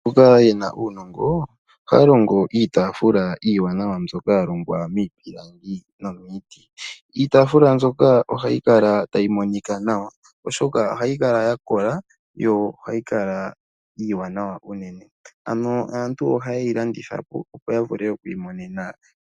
Mboka yena uunongo haya longo iitafula iiwanawa mbyoka ya longwa miipilangi nomiiti. Iitafula mbyoka ohayi kala tayi monika nawa oshoka ohayi kala ya kola yo ohayi kala iiwanawa unene, aantu ohayeyi landitha po opo ya vule oku imonena